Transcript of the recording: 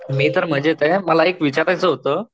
मी तर मजेत आहे. मला एक विचारायच होत.